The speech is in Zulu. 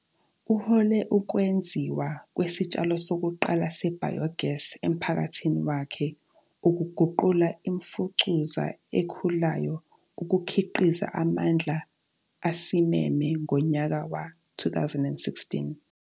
Uhole ukwenziwa kwesitshalo sokuqala se- bio gas emphakathini wakhe ukuguqula imfucuza ekhulayo ukukhiqiza amandla asimeme ngonyaka we-2016.